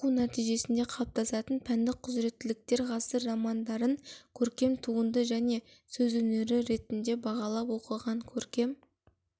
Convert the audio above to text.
оқу нәтижесінде қалыптасатын пәндік құзыреттіліктер ғасыр романдарын көркем туынды және сөз өнері ретінде бағалап оқыған көркем